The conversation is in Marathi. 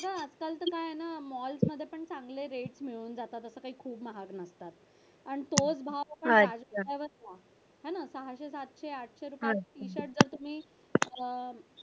आजकालच काय आहे ना मॉल्स मध्ये पण चांगले rates मिळून जातात असं काही खूप महाग नसतात आणि तोच हा ना सहाशे सातशे आठशे रुपयाला t shirt भेटतात तर ही